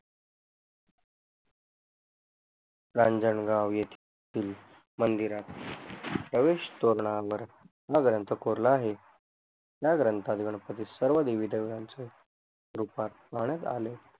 रांजनगांव येतील मंदिरात प्रवेश तोरणा ग्रंथ कोरला आहे या ग्रंथात गणपती सर्व देवी देवतांचे रूपात पाहण्यात आले